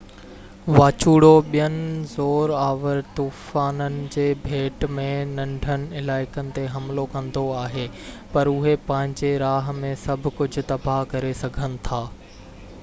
واچوڙو ٻين زور آور طوفانن جي ڀيٽ ۾ ننڍن علائقن تي حملو ڪندو آهي پر اهي پنهنجي راه ۾ سڀ ڪجهہ تباه ڪري سگهن ٿا